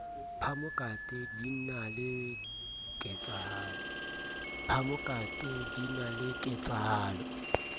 phamokate din a le ketsahalo